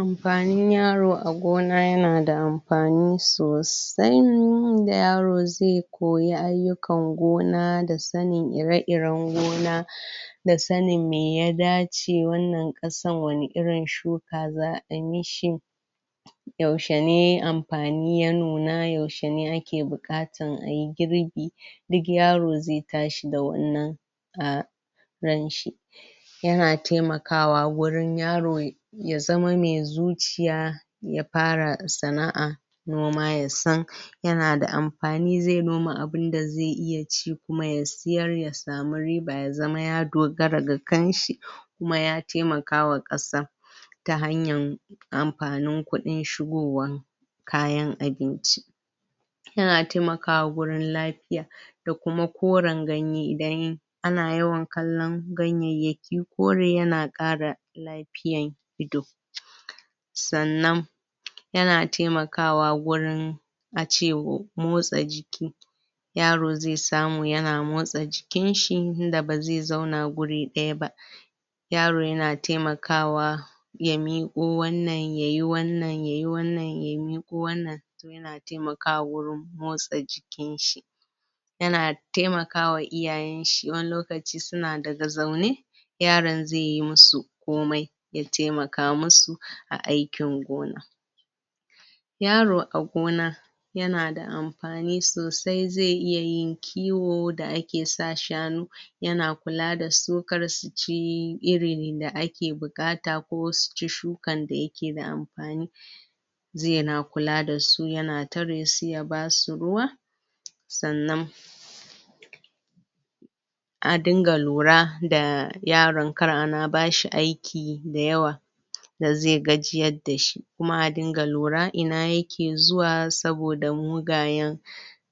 Amfanin yaro a gona ya na da amfani sosai in da yaro zai koya ayukan gona da sannin ire-iren gona da tsannin mai ya dace wannan kasan wani irin shuka zaa yi mishi yaushe ne amfani ya nuna, yaushe ne a ke bukatan a yi girbi duk yaro zai tashi da wannan a ranshi yana taimakawa wurin yaro ya zama mai zucciya ya fara sanaa noma ya san ya na da amfani zai noma abunda zai iya ci kuma ya siyar ya samu riba ya zama ya dogara ga kan shi kuma ya taimakawa kasa da hanyan amfanin kudin shigowan, kayan abinci ya na taimakawa gurin lafiya da kuma korin ganye idan a na yawan kallon ganyeyaki kori ya na kara lafiyan ido tsannan ya na taimakawa gurin a cewa motsa jiki yaro zai samu ya na motsa jikin shi da ba zai zauna guri daya ba yaro ya na taimakawa ya miƙo wannan, ya yi wannan, ya yi wannan, ya miƙo wannan ya na taimakawa wurin motsa jikin shi ya na taimaka wa iyayen shi, wanni lokaci su na daga zaune yaron zai yi mu su komai ya taimaka masu a aikin gona. Yaro a gona, ya na da amfani sosai zai iya yin kiwo da a ke sa shanu ya na kula da su kar su ci, irin da a ke bukata ko su ci shukan da ya ke da amfani zai na kula da su, ya na tare su ya ba su ruwa tsannan a dinga lura, da yaron, kar a na bashi aiki dayawa da zai gajiyar da shi ku ma a dinga lura ina ya ke zuwa saboda mugayen